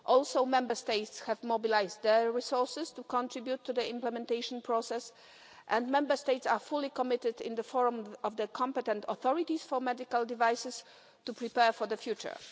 Also, Member States have mobilised their resources to contribute to the implementation process and Member States are fully committed, in the form of the competent authorities for medical devices, to preparing for the future.